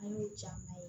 An y'o caman ye